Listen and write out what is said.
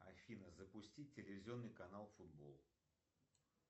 афна запусти телевизионный канал футбол